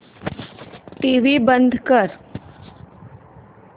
TV बंद कर